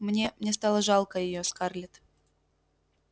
мне мне стало жалко её скарлетт